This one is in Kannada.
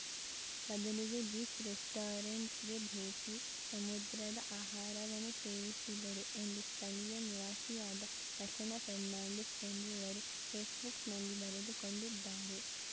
ಬದಲಿಗೆ ಬೀಚ್‌ ರೆಸ್ಟೋರೆಂಟ್‌ಗೆ ಭೇಟಿ ಸಮುದ್ರದ ಆಹಾರವನ್ನು ಸೇವಿಸಿದರು ಎಂದು ಸ್ಥಳೀಯ ನಿವಾಸಿಯಾದ ರಚನಾ ಫರ್ನಾಂಡೀಸ್‌ ಎಂಬುವರು ಫೇಸ್‌ಬುಕ್‌ನಲ್ಲಿ ಬರೆದುಕೊಂಡಿದ್ದಾರೆ